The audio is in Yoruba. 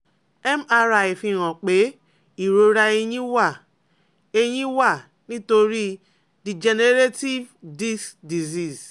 MRI fihan pe irora ẹyin wa ẹyin wa nitori "degenerative disc disease"